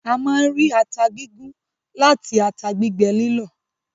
A máa ń rí ata gígún láti ata gbígbẹ lílọ̀.